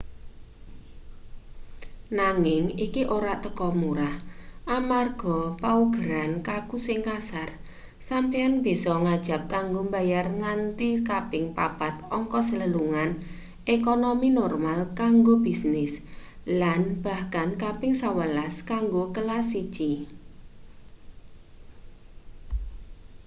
nanging iki ora teka murah amarga paugeran kaku sing kasar sampeyan bisa ngajab kanggo bayar nganti kaping papat ongkos lelungan ekonomi normal kanggo bisnis lan bahkan kaping sewelas kanggo kelas siji